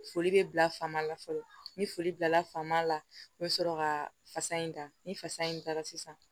Foli bɛ bila fama fɔlɔ ni foli bilala faama la n bɛ sɔrɔ ka fasa in ta ni fasa in taara sisan